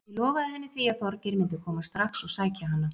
Ég lofaði henni því að Þorgeir myndi koma strax og sækja hana.